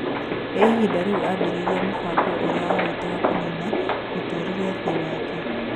Nĩ ihinda rĩũ ambĩrĩirie mũbango ũrĩa awĩtaga kũnina mũtũrire the wake.